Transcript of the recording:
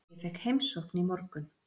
Ég fékk heimsókn í morgun.